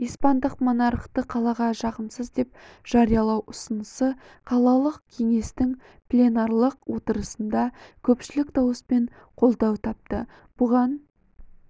испандық монархты қалаға жағымсыз деп жариялау ұсынысы қалалық кеңестің пленарлық отырысында көпшілік дауыспен қолдау тапты бұған